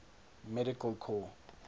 medical corps